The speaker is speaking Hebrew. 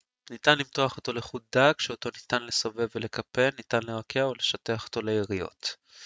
ניתן למתוח אותו לחוט דק שאותו ניתן לסובב ולקפל ניתן לרקע או לשטח אותו ליריעות